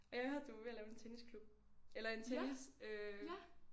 Og jeg har hørt du var ved at lave en tennisklub. Eller en tennis øh